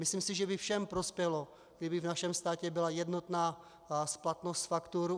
Myslím si, že by všem prospělo, kdyby v našem státě byla jednotná splatnost faktur.